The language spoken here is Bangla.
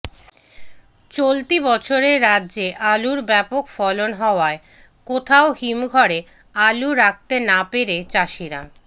চলতি বছরে রাজ্যে আলুর ব্যাপক ফলন হওয়ায় কোথাও হিমঘরে আলু রাখতে না পেরে চাষিরা